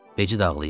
Becid ağlayırdı.